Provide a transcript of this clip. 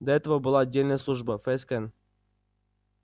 до этого была отдельная служба фскн